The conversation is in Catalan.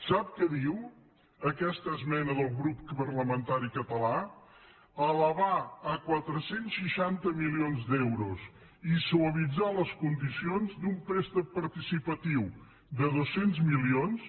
sap què diu aquesta esmena del grup parlamentari català elevar a quatre cents i seixanta milions d’euros i suavitzar les condicions d’un préstec participatiu de dos cents milions